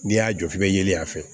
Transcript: N'i y'a jɔ f'i bɛ yelen a fɛ